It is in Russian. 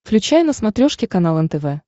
включай на смотрешке канал нтв